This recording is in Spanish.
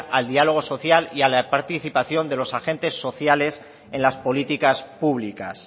al diálogo social y a la participación de los agentes sociales en las políticas públicas